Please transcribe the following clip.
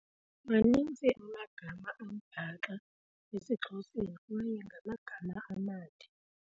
Maninzi amagama ambaxa esiXhoseni kwaye ngamagama amade.